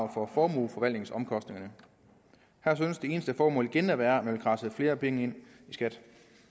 for formueforvaltningsomkostninger her synes det eneste formål igen at være at man vil kradse flere penge ind i skat